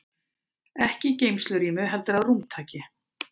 Ekki í geymslurými heldur að rúmtaki.